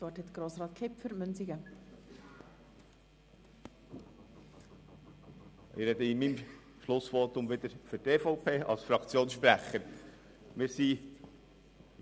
Ich spreche in meinem Schlussvotum wieder als Fraktionssprecher für die EVP.